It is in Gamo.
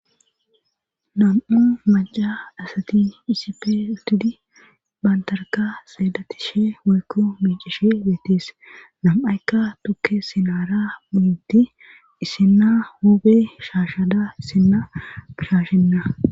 Nam7u maca asati isife utudi baantarka xeedatishe wuykku miicishe beetis nam7aykka tukke sinaara bunutti isinna huube shaashada isinna gishashenna